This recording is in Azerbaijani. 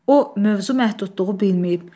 O mövzu məhdudluğu bilməyib.